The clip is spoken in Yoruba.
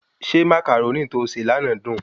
Ṣé Màcàrónì tó se lànà dùn?